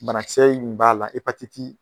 Banakisɛ in b'a la hepatiti.